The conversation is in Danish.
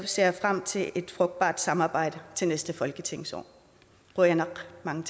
ser frem til et frugtbart samarbejde til næste folketingsår qujanaq mange